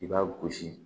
I b'a gosi